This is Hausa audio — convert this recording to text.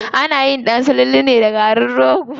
Anayin ɗan sululu ne da garin rogo.